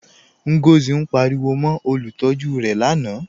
Ngọzi ǹ pàríwò mó olùtọ̀jú rẹ̀ lánà